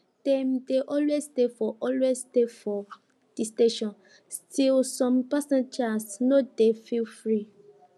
dem dey always stay for always stay for de station still some passengers no dey feel free